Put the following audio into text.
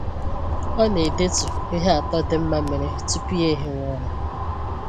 Ọ na edetu ihe atọ dị mma mere tupu ya ehiwe ụra